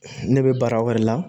Ne bɛ baara wɛrɛ la